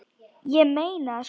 Ég meina það sko.